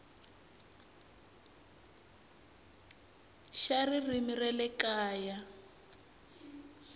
xa ririmi ra le kaya